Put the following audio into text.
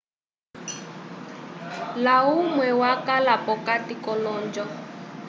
layumwe wakala p'okati k'olonjo